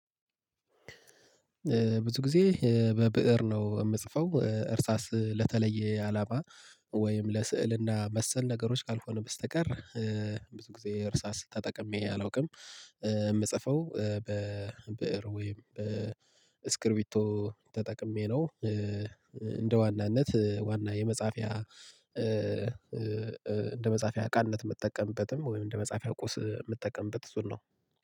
ብዙ ጊዜ በብእር ነው የምጽፈው እርሳስ ለተለየ አላማ ወይም ለስዕልና መሰል ነገሮች ካልሆነ በስተቀር ብዙ ጊዜ እርሳስ ተጠቅሜ አላውቅም የምጽፈው በብእር ወይም በስክሪቢቶ ተጠቅሜ ነው። እንደ ዋናነት ዋና የመጻፊያ እንደ መጻፊያ እቃነት የምጠቀምበትም ወይም እንደ መጻፊያ ቁስ የምጠቀምበት እሱን ነው